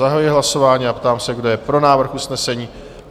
Zahajuji hlasování a ptám se, kdo je pro návrh usnesení?